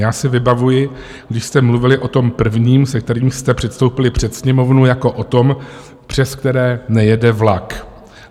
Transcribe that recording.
Já si vybavuji, když jste mluvili o tom prvním, se kterým jste předstoupili před Sněmovnu, jako o tom, přes které nejede vlak.